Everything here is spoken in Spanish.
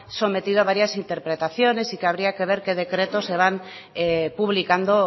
sometido a varias interpretaciones y que habría que ver qué decretos se van publicando